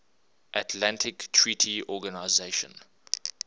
atlantic treaty organization